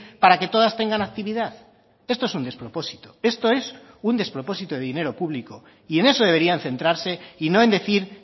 para que todas tengan actividad esto es un despropósito esto es un despropósito de dinero público y en eso deberían centrarse y no en decir